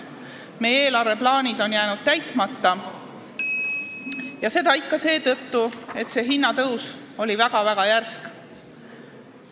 Meie eelarveplaanid on jäänud täitmata ja seda just seetõttu, et hinnatõus on olnud väga järsk.